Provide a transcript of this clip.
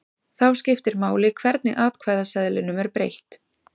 Þá skiptir máli hvernig atkvæðaseðlinum er breytt.